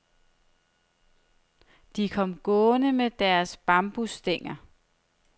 De kom gående med deres bambusstænger.